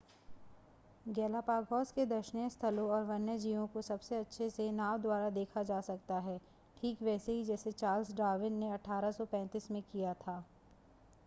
Galapagos के दर्शनीय स्थलों और वन्यजीवों को सबसे अच्छे से नाव द्वारा देखा जा सकता है ठीक वैसे ही जैसे चार्ल्स डार्विन ने 1835 में किया था